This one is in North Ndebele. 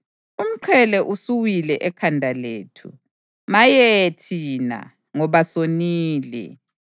Umqhele usuwile ekhanda lethu. Maye thina, ngoba sonile!